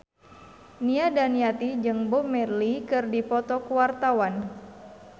Nia Daniati jeung Bob Marley keur dipoto ku wartawan